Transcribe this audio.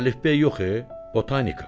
Əlifbey yox e, botanika.